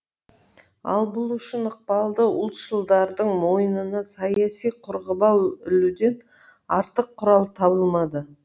ал бұл үшін ықпалды ұлтшылдардың мойнына саяси қарғыбау ілуден артық құрал табылмады